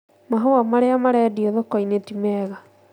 Mahũa marĩa marendio thoko-inĩ ti mega